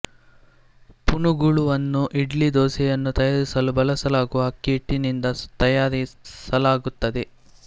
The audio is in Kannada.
ಪುನುಗುಲುವನ್ನು ಇಡ್ಲಿ ದೋಸೆಯನ್ನು ತಯಾರಿಸಲು ಬಳಸಲಾಗುವ ಅಕ್ಕಿ ಹಿಟ್ಟಿನಿಂದ ತಯಾರಿಸಲಾಗುತ್ತದೆ